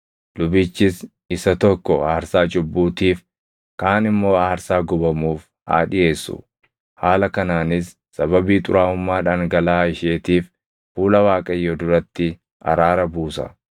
Lubichis isa tokko aarsaa cubbuutiif, kaan immoo aarsaa gubamuuf haa dhiʼeessu. Haala kanaanis sababii xuraaʼummaa dhangalaʼaa isheetiif fuula Waaqayyoo duratti araara buusa.